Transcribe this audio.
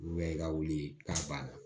Olu bɛ i ka wuli ka ban